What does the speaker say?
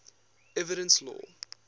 evidence law